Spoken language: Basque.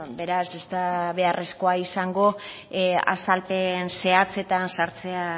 beraz ez da beharrezkoa izango azalpen zehatzetan sartzea